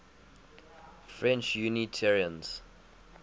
french unitarians